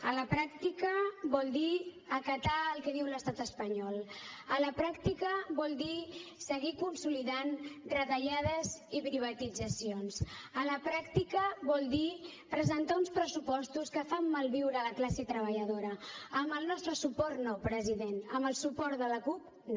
a la pràctica vol dir acatar el que diu l’estat espanyol a la pràctica vol dir seguir consolidant retallades i privatitzacions a la pràctica vol dir presentar uns pressupostos que fan malviure la classe treballadora amb el nostre suport no president amb el suport de la cup no